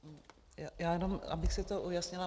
Já jenom abych si to ujasnila.